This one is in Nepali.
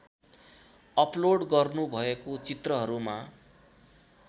अप्लोड गर्नुभएको चित्रहरूमा